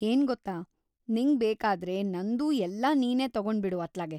ಏನ್‌ ಗೊತ್ತಾ! ನಿಂಗ್‌ ಬೇಕಾದ್ರೆ ನಂದೂ ಎಲ್ಲ ನೀನೇ ತಗೊಂಡ್ಬಿಡು ಅತ್ಲಾಗೆ.